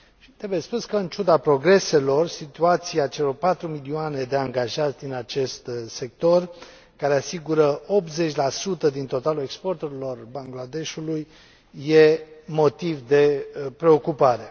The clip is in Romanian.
Trebuie spus că, în ciuda progreselor, situația celor 4 milioane de angajați din acest sector, care asigură 80 din totalul exporturilor Bangladeshului, e motiv de preocupare.